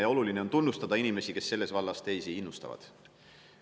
Ja oluline on tunnustada inimesi, kes selles vallas teisi innustavad.